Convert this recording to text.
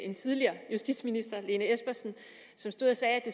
en tidligere justitsminister fru lene espersen som stod og sagde at